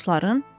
Dostların?